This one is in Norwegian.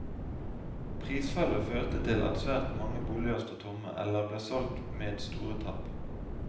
Prisfallet førte til at svært mange boliger sto tomme, eller ble solgt med store tap.